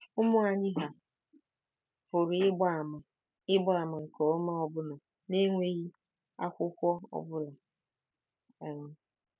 Ụmụ anyị hà pụrụ ịgba àmà ịgba àmà nke ọma ọbụna n’enweghị akwụkwọ ọ bụla? um